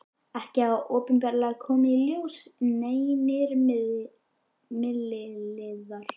Ekki hafa opinberlega komið í ljós neinir milliliðir.